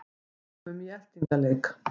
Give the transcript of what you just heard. Komum í eltingaleik